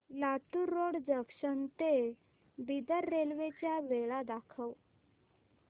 Latur road junction ते Bidar railway च्या वेळा दाखव